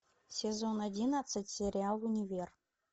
сезон одиннадцать сериал универ